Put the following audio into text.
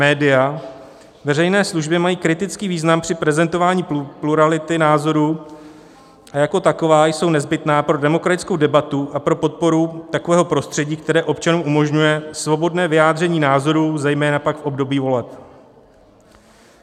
Média veřejné služby mají kritický význam při prezentování plurality názorů a jako taková jsou nezbytná pro demokratickou debatu a pro podporu takového prostředí, které občanům umožňuje svobodné vyjádření názorů, zejména pak v období voleb.